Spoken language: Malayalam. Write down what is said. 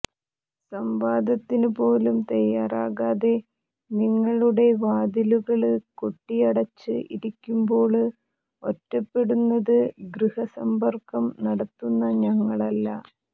സംവാദത്തിന് പോലും തയ്യാറാകാതെ നിങ്ങളുടെ വാതിലുകള് കൊട്ടിയടച്ച് ഇരിക്കുമ്പോള് ഒറ്റപ്പെടുന്നത് ഗൃഹസമ്പര്ക്കം നടത്തുന്ന ഞങ്ങളല്ല